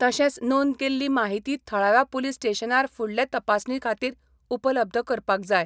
तशेंच नोंद केल्ली माहिती थळाव्या पुलीस स्टेशनार फुडले तपासणी खातीर उपलब्ध करपाक जाय.